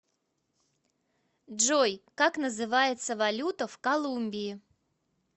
джой как называется валюта в колумбии